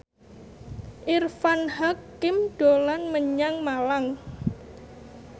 Irfan Hakim dolan menyang Malang